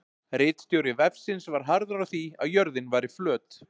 Ritstjóri vefsins var harður á því að jörðin væri flöt.